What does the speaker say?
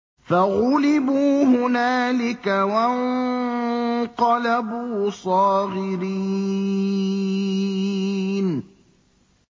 فَغُلِبُوا هُنَالِكَ وَانقَلَبُوا صَاغِرِينَ